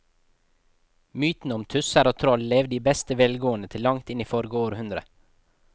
Mytene om tusser og troll levde i beste velgående til langt inn i forrige århundre.